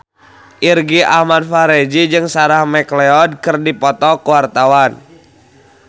Irgi Ahmad Fahrezi jeung Sarah McLeod keur dipoto ku wartawan